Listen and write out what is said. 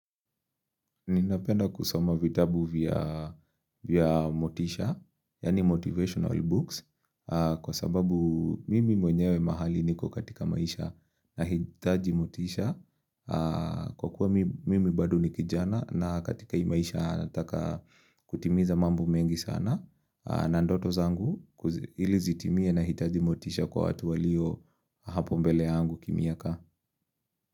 Ninapenda kusoma vitabu vya motisha, yani motivational books, kwa sababu mimi mwenyewe mahali niko katika maisha nahitaji motisha, kwa kuwa mimi badu ni kijana na katika imaisha nataka kutimiza mambo mengi sana, na ndoto zangu ili zitimie na hitaji motisha kwa watu walio hapo mbele yangu kimiaka.